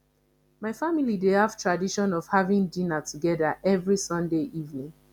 my family dey have tradition of having dinner together every sunday evening